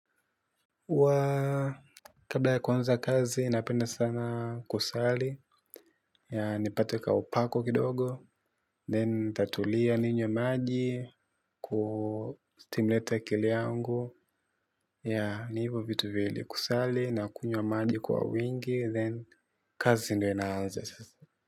Huwa kabla ya kuanza kazi napenda sana kusali ili nipate kaupako kidogo. Then natulia, ninywe maji kustimulate kiwiliwili changu. Ni hivyo vitu viwili: kusali na kunywa maji kwa wingi, then kazi ndiyo inaanza sasa.